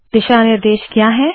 दिशा निर्देश क्या है160